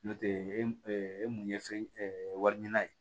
N'o tɛ e mun ye fɛn wari ɲini na ye